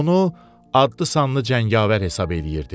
Onu adlı-sanlı cəngavər hesab eləyirdi.